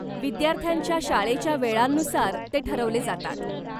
विद्यार्थ्यांच्या शाळेच्या वेळांनुसार ते ठरवले जातात.